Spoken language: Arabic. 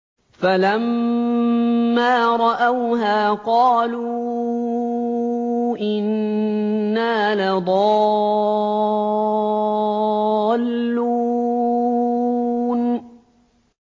فَلَمَّا رَأَوْهَا قَالُوا إِنَّا لَضَالُّونَ